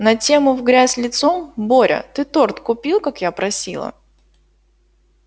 на тему в грязь лицом боря ты торт купил как я просила